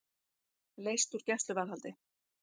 Leyst úr gæsluvarðhaldi